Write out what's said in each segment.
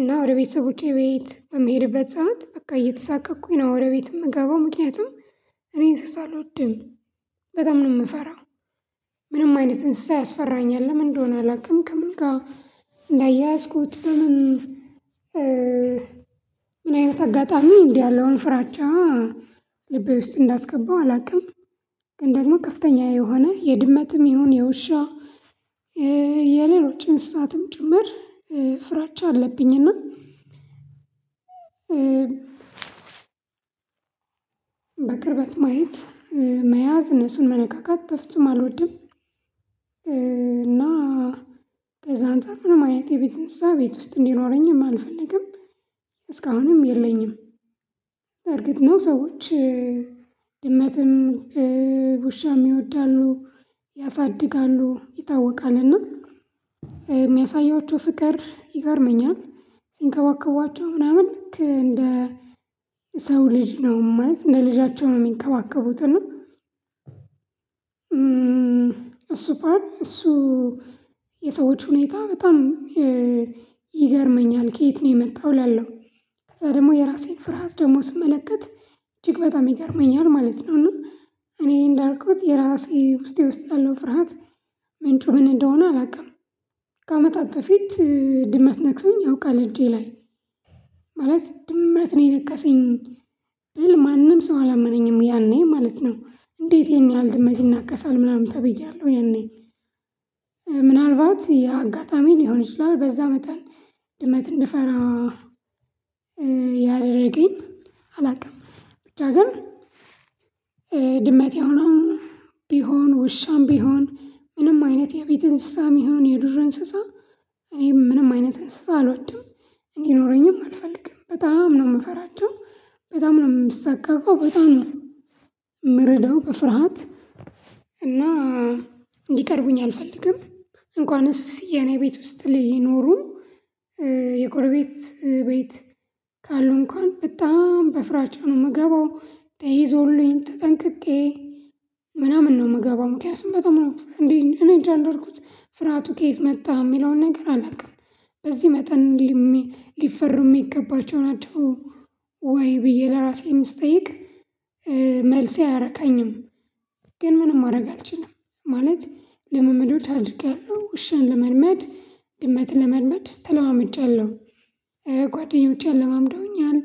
እና ወደ ቤተሰቦቼ ቤት በምሄድበት ሰዓት በቃ እየተሳቀቅኩኝ ነው ወደ ቤት የምገባው ምክንያቱም እኔ እንስሳ አልወድም። በጣም ነው የምፈራው። አይነት እንስሳ ያስፈራኛል ለምን እንደሆነ አላውቅም። ከምን ጋር እንዳያዝኩት ለምን? ምን አይነት አጋጣሚ እንዲህ ያለውን ፍራቻ ልብ ውስጥ እንዳስገባው አላውቅም። ግን ደግሞ ከፍተኛ የሆነ የድመትም ይሁን የውሻ የሌሎችን እንሰሳት ጭምር ፍራቻ አለብኝና። በቅርበት ማየት መያዝ እነሱን መነካካት በፍጹም አልወድም። እና ከዛ አንተ ምንም አይነት የቤት እንስሳ ቤት ውስጥ እንዲኖረኝም አልፈልግም። እስካሁንም የለኝም። እርግጥ ነው ሰዎች ድመትም ውሻም ይወዳሉ ያሳድጋሉ ይታወቃል እና። በቀር ይገርመኛል ሲንከባከቧቸው ምናምን እንደ ሰው ልጅ ነው ማለት እንደ ልጃቸው ነው የሚንከባከቡት። እሱ ፓርት እሱ። የሰዎች ሁኔታ በጣም ይገርመኛል ከየት ነው የመጣው እላለሁ። ከዛ ደግሞ የራሴን ፍርሃት ደግሞ ስመለከት እጅግ በጣም ይገርመኛል ማለት ነው። እና እኔ እንዳልኩት የራሴ ውስጥ ያለው ፍርሃት ምንጩ ምን እንደሆነ አላውቅም። በፊት ድመት ነክሶኝ ያውቃል እጄ ላይ ማለት ድመት ነው የነከሰኝ። ስል ማንም ሰው አላመነኝም። ያኔ ማለት ነው እንዴት ይሄን ያህል ድመቴን ይናቀሳል ምናምን ተብያለሁ። የኔ ምናልባት የአጋጣሚ ሊሆን ይችላል። በዛ መጠን ድመት እንድፈራ። ያደረገኝ አላውቅም ብቻ ግን። የሆነው ቢሆን ውሻም ቢሆን ምንም አይነት የቤት እንስሳ የሚሆን የዱር እንስሳ ይሄ ምንም አይነት እንስሳ አልወድም እንዲኖረኝም አልፈልግም በጣም ነው የምፈራቸው። ነው የምሳቀቀው በጣም ነው። የምርዳው በፍርሃት እና እንዲቀርቡኝ አልፈልግም። እንኳንስ የኔ ቤት ውስጥ ሊኖሩ የጎረቤት ቤት ካሉ እንኳን በጣም በፍራጫ ነው የምገባው ተይዞልኝ ተጠንቅቄ ምናምን ነው የምገባው። ምክንያቱም በጣም እንዴ እኔ እንጃ አደረኩት ፍርሃቱ ከየት መጣ የሚለውን ነገር አላውቅም። በዚህ መጠን ሊፈሩ የሚገባቸው ናቸው ወይ? ብዬ ለራሴ የምስጠይቅ መልሴ አያረካኝም። ግን ምንም ማድረግ አልችልም። ማለት ልምምዶች አድርጋለሁ ውሻን ለመልመድ ግመትን ለመልመድ ተለዋመጫለሁ። ለማምዶኛል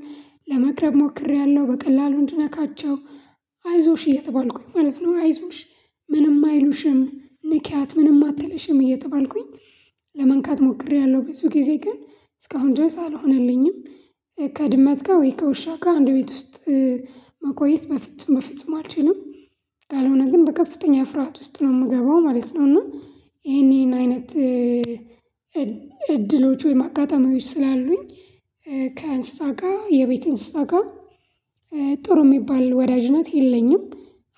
ለመቅረብ ሞክሬያለሁ በቀላሉ እንድነካቸው አይዞሽ እየተባልኩኝ ማለት ነው። አይዞሽ ምንም አይሉሽም ንኪያት ምንም አትልሽም እየተባልኩኝ ለመንካት ሞክሬያለሁ ብዙ ጊዜ ግን እስካሁን ድረስ አልሆነልኝም። ከድመት ጋር ወይ ከውሻ ጋር አንድ ቤት ውስጥ መቆየት በፍጹም በፍጹም አልችልም። ካልሆነ ግን በከፍተኛ ፍርሃት ውስጥ ነው የምገባው ማለት ነው። እና ይሄን ይሄን አይነት እድሎች ወይም አጋጣሚዎች ስላሉኝ። ከእንሰሳት ጋር የቤት አንስታ ጋር ጥሩ የሚባል ወዳጅ ናት የለኝም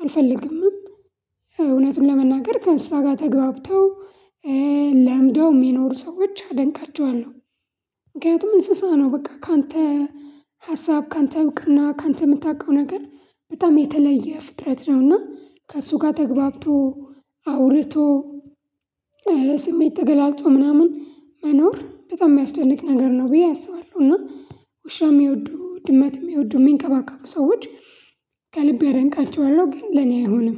አልፈልግምም። እውነቱን ለመናገር ከእሳ ጋር ተገብተው ለምደው የሚኖሩ ሰዎች አደንቃቸዋለሁ። ምክንያቱም እንስሳ ነው በቃ ካንተ ሀሳብ ካንተ እውቅና ካንተ የምታውቀው ነገር በጣም የተለየ ፍጥረት ነውና ከእሱ ጋር ተግባብቶ አውርቶ ስሜት ተገላልጾ ምናምን መኖር በጣም የሚያስደንቅ ነገር ነው። ብዬ አስባለሁ። እና ውሻም የሚወዱ ድመትም የሚወዱ የሚንቀባቀቁ ሰዎች ከልብ አደንቃቸዋለሁ ግን ለኔ አይሆንም።